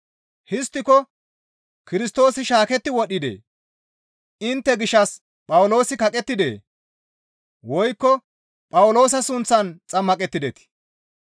Histtiko Kirstoosi shaaketti wodhdhidee? Intte gishshas Phawuloosi kaqettidee? Woykko Phawuloosa sunththan xammaqettidetii?